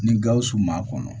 Ni gawusu ma kɔnɔ